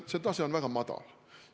See tase on väga madal.